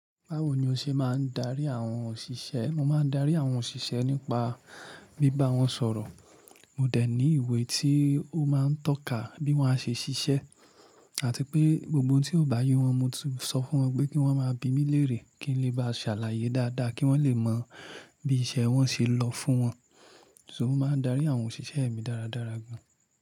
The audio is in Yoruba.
Báwo ni o ṣe máa ń darí àwọn òṣìṣẹ́? Mo máa ń darí àwọn òṣìṣẹ́ nípa bí bá wọn sọ̀rọ̀. Mo dẹ̀ ní ìwé tí ó máa ń tọ́ka bí wọ́n ṣe ṣiṣẹ́ àti pé gbogbo ohun tí ò bá yé wọn, mo tún sọ fún wọn pé kí wọ́n máa bi mí lérè kí n lè ba ṣàlàyé dáadáa kí wọ́n lè mọ bí iṣẹ́ wọn ṣe lọ fún wọn. So mo máa ń darí àwọn òṣìṣẹ́ mi dáradára gan-an.